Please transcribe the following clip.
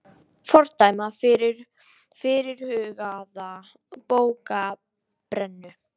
Fordæma fyrirhugaða bókabrennu